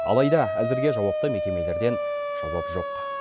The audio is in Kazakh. алайда әзірге жауапты мекемелерден жауап жоқ